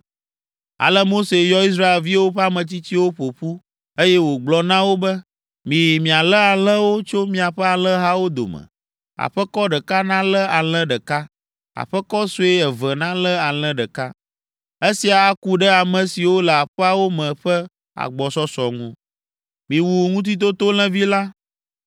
Ale Mose yɔ Israelviwo ƒe ametsitsiwo ƒo ƒu, eye wògblɔ na wo be, “Miyi mialé alẽwo tso miaƒe alẽhawo dome. Aƒekɔ ɖeka nalé alẽ ɖeka; aƒekɔ sue eve nalé alẽ ɖeka. Esia aku ɖe ame siwo le aƒeawo me ƒe agbɔsɔsɔ ŋu. Miwu Ŋutitotolẽvi la.